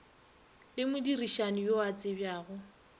le modirišani yo a tsebjago